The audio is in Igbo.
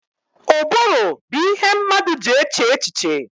Ụbụrụ bụ ihe mmadụ ji eche echiche